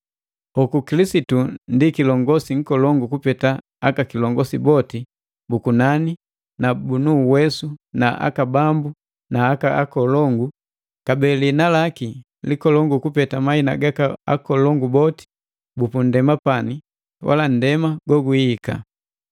Hoku, Kilisitu ndi kilongosi nkolongu kupeta aka kilongosi boti bu kunani na bunu uwesu na aka bambu na aka akolongu, kabee liina laki likolongu kupeta mahina gaka akolongu boti bupunndema pani wala nndema gogwihika.